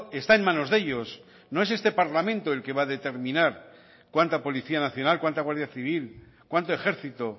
está en manos de ellos no es este parlamento el que va a determinar cuánta policía nacional cuanta guardia civil cuanto ejército